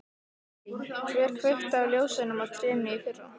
Lillý: Hver kveikti á ljósunum á trénu í fyrra?